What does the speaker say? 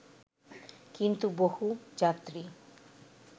কিন্তু বহু যাত্রী